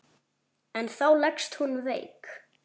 En þá leggst hún veik.